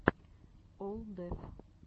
олл деф